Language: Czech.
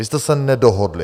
Vy jste se nedohodli.